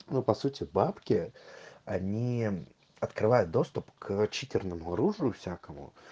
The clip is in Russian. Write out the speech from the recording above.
ну по сути бабки они открывают доступ к читерному оружию всякому